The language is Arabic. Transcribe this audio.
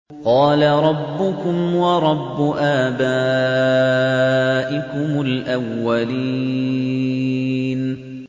قَالَ رَبُّكُمْ وَرَبُّ آبَائِكُمُ الْأَوَّلِينَ